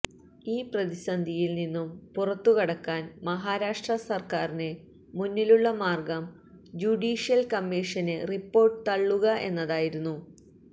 ഈ പ്രതിസന്ധിയില് നിന്നും പുറത്തുകടക്കാന് മഹാരാഷ്ട്ര സര്ക്കാറിന് മുന്നിലുള്ള മാര്ഗം ജുഡീഷ്യല് കമ്മീഷന് റിപ്പോര്ട്ട് തള്ളുക എന്നതായിരുന്നു